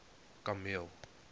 kameel